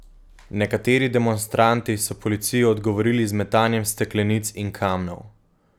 Nekateri demonstranti so policiji odgovorili z metanjem steklenic in kamnov.